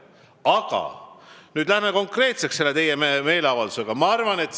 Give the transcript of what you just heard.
Aga läheme nüüd konkreetsemalt selle teie meeleavalduse juurde.